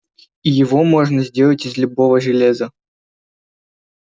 и его можно сделать из любого железа